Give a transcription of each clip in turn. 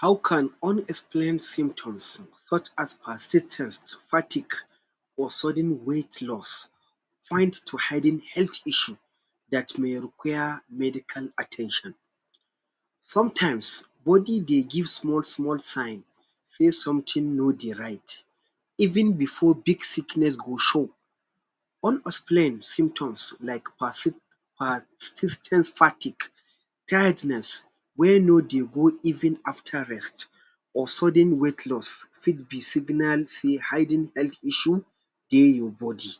How can unexplain symptoms such as persis ten ce fatigue or sudden weight loss find to hidden health issue dat may require medical at ten tion? Sometimes, body dey give small-small sign sey something no dey right. Even before big sickness go show, unexplained symptoms like persis ten ce fatigue, tiredness wey no dey go even after rest, or sudden weight loss fit be signal sey hidden health issue dey your body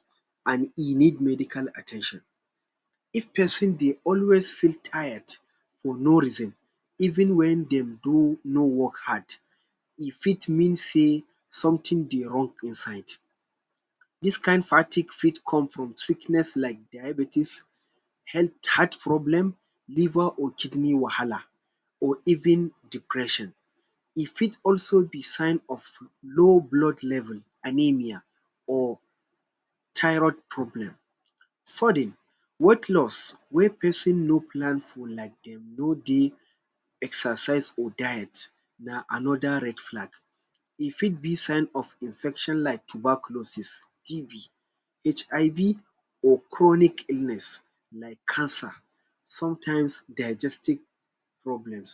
an e need medical at ten tion. If pesin dey always feel tired for no reason even wen dem do no work hard, e fit mean sey something dey wrong inside. Dis kain fatigue fit come from sickness like diabetes, health heart problem, liver or kidney wahala or even depression. E fit also be sign of low blood level (anemia) or thyroid problem. Sudden weight loss wey pesin no plan for, like dem no dey exercise or diet na another red flag. E fit be sign of infection like tuberculosis TB, HIB or chronic illness like cancer. Sometimes, digestic problems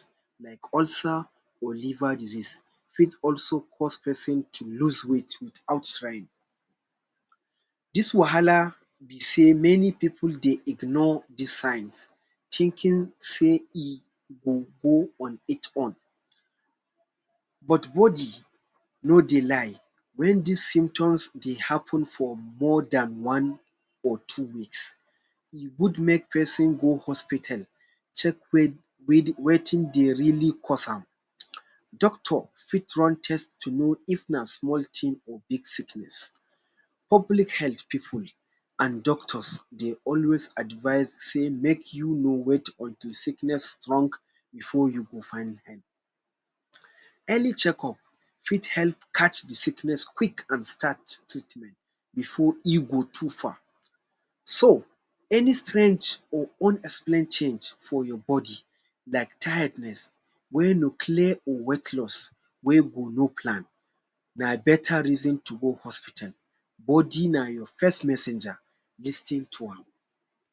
like ulcer or liver disease fit also cause pesin to lose weight without trying. Dis wahala be sey many pipu dey ignore dis signs, thinking sey e go go on it own, but body no dey lie. Wen dis symptoms dey happen for more than one or two weeks, e good make pesin go hospital, check wetin dey really cause am. Doctor fit run test to know if na small tin or big sickness. Public health pipu an doctors dey always advice sey make you no wait until sickness strong before you go find help. Early checkup fit help catch the sickness quick an start treatment before e go too far. So, any strange or unexplained change for your body like tiredness wey no clear or weight loss wey no plan, na beta reason to go hospital. Body na your first messenger. Lis ten to am.